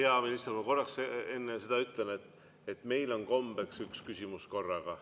Hea minister, ma korraks enne seda ütlen, et meil on kombeks üks küsimus korraga.